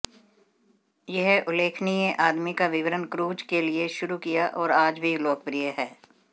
यह उल्लेखनीय आदमी का विवरण क्रूज के लिए शुरू किया और आज भी लोकप्रिय हैं